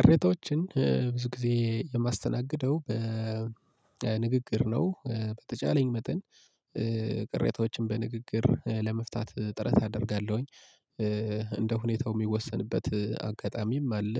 ቅሬታዎችን ብዙ ጊዜ የማስተናግደው በንግግር ነው በተቻለኝ መጠን ቅሬታዎችን በንግግር ለመፍታት ጥረት አደርጋለሁኝ። እንደ ሁኔታው ሚወሰንበት አጋጣሚም አለ